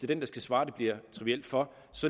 den der skal svare det bliver trivielt for